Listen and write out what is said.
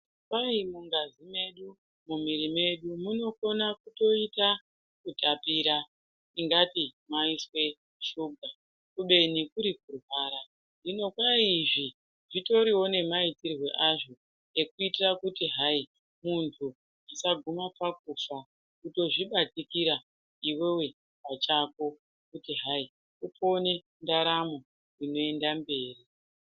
Kwai mungazi medu mumwiri medu munokone kutoita kutapira ungati maiswe shuga beni kuri kurwara hino kwai izvi zvitoriwo nemaitirwe azvo ekuitira kuti hai muntu usaguma pakufa kutozvibatikira iwewe pachako kuitira kuti upone ndaramo inoenda mberi.